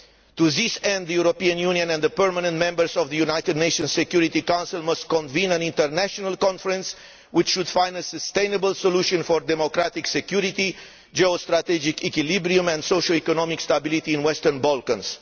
To this end, the European Union and the permanent members of the United Nations Security Council must convene an international conference which should find a sustainable solution for democratic security, geo strategic equilibrium and social economic stability in the Western Balkans.